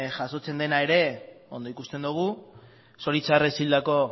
jasotzen dena ere ondo ikusten dugu zoritxarrez hildako